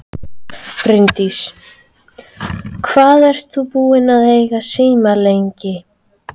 Bryndís: Hvað ert þú búinn að eiga síma lengi?